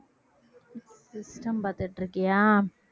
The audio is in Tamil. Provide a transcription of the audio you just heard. system பாத்துட்டு இருக்கியா